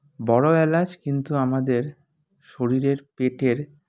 বড়ো এলাচ কিন্তু আমাদের শরীরের পেটের